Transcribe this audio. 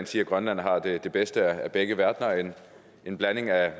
sige at grønland har det bedste af begge verdener altså en blanding af